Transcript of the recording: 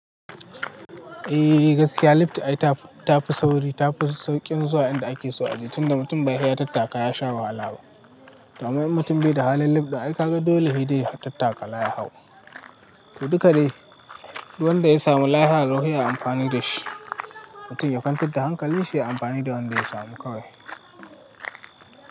Eh gaskiya libta ita ta fi sauri, ta fi sauƙin zuwa inda ake so a je tunda mutum bai sai tattaka ya sha wahala ba. Domin mutum bai da halin libta, ai ka ga dole shi dai tattaka ya hau. To duka dai, wanda ya samu lafiya lau sai yayi amfani da shi. Mutum yakwantar da hankali shi ya yi amfani da wanda ya samu kawai.